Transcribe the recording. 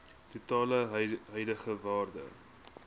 totale huidige waarde